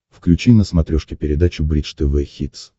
включи на смотрешке передачу бридж тв хитс